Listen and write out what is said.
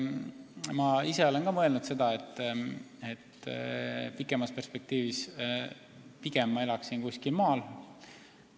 Ma ise olen ka mõelnud seda, et pikemas perspektiivis ma elaksin pigem maal.